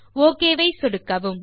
okay கொடுக்கவும்